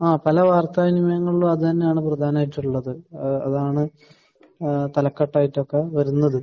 ആഹ്. പല വാർത്തകളിലും അത് തന്നെയാണ് പ്രധാനമായിട്ടും ഉള്ളത്. ഏഹ് അതാണ് ഏഹ് തലക്കെട്ടായിട്ടൊക്കെ വരുന്നത്.